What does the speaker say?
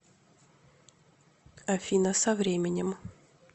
афина со временем